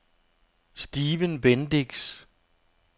Stephen Bendix